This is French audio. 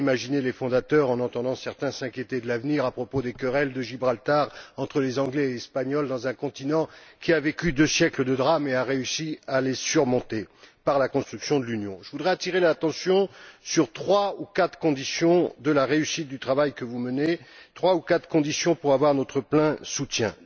Qu'auraient imaginé les fondateurs en entendant certains s'inquiéter de l'avenir à propos des querelles concernant Gibraltar entre les Anglais et les Espagnols, dans un continent qui a vécu deux siècles de drames et qui a réussi à les surmonter par la construction de l'Union? Je voudrais attirer votre attention sur trois ou quatre conditions de la réussite du travail que vous menez et de l'obtention de notre plein soutien.